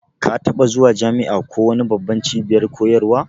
Ka taɓa zuwa jami'a ko wani babban cibiyar koyarwa?